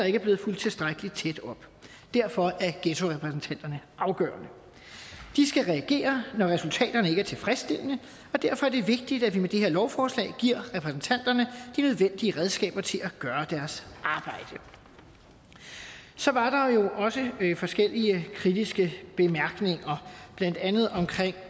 ikke er blevet fulgt tilstrækkelig tæt op derfor er ghettorepræsentanterne afgørende de skal reagere når resultaterne ikke er tilfredsstillende og derfor er det vigtigt at vi med det her lovforslag giver repræsentanterne de nødvendige redskaber til at gøre deres arbejde så var der jo også forskellige kritiske bemærkninger blandt andet om